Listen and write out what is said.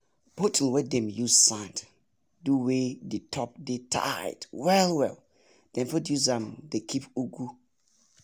bottle wey dem use sand do wey d top dey tight well well dem fit use m dey keep ugu